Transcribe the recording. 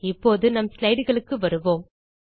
இப்போது நம் slideகளுக்கு வருவோம்